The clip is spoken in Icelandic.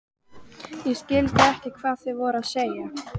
Ég skildi ekkert hvað þeir voru að segja.